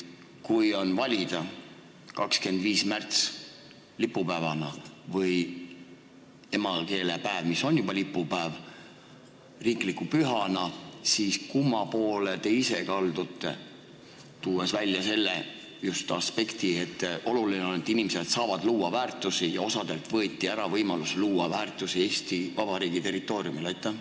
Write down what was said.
Kui on valida, kas 25. märts lipupäevana või emakeelepäev, mis on juba lipupäev, riikliku pühana, siis kumma poole teie ise kaldute, kui tuua välja just see aspekt, et oluline on, et inimesed saavad luua väärtusi, aga osalt võeti ära võimalus luua väärtusi Eesti Vabariigi territooriumil?